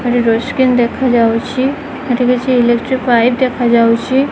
ଏଠି door screen ଦେଖାଯାଉଛି ଏଠି କିଛି ଇଲେକ୍ଟ୍ରି ପାଇପ୍ ଦେଖାଯାଉଚି।